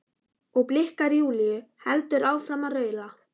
og blikkar Júlíu, heldur áfram að raula.